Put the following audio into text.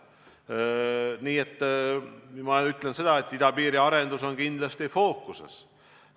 Nii et ma ütlen seda, et idapiiri arendus on kindlasti fookuses.